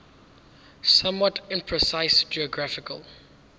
somewhat imprecise geographical